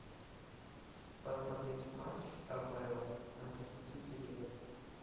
посмотреть матч апл манчестер сити ливер